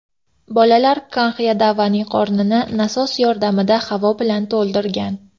Bolalar Kanx Yadavaning qornini nasos yordamida havo bilan to‘ldirgan.